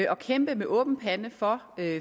og kæmpe med åben pande for